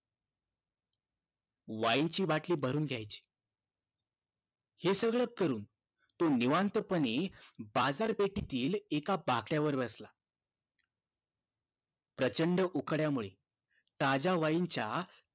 wine ची बाटली भरून घ्यायची हे सगळं करून तो निवांत पने बाजार पेठेतील एका तो बाकडयांवर बसला प्रचंड उकाड्यामुळे ताज्या wine च्या